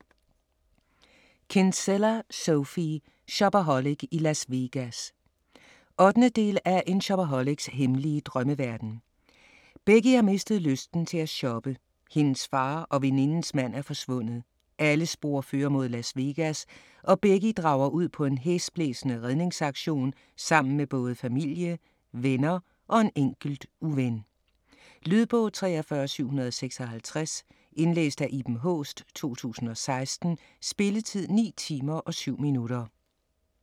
Kinsella, Sophie: Shopaholic i Las Vegas 8. del af En shopaholics hemmelige drømmeverden. Becky har mistet lysten til at shoppe, hendes far og venindens mand er forsvundet. Alle spor fører mod Las Vegas og Becky drager ud på en hæsblæsende redningsaktion sammen med både familie, venner og en enkelt uven. Lydbog 43756 Indlæst af Iben Haaest, 2016. Spilletid: 9 timer, 7 minutter.